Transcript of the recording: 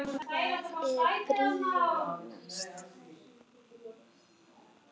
Hvað er brýnast?